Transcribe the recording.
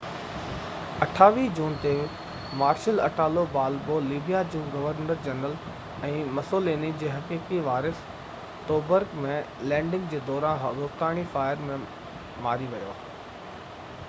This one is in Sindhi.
28 جون تي مارشل اٽالو بالبو لبيا جو گورنر جنرل ۽ مسوليني جو حقيقي وارث توبرڪ ۾ لينڊگ جي دوران دوستاڻي فائير ۾ مري ويا هئا